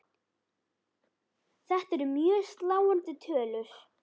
Þetta eru mjög sláandi tölur.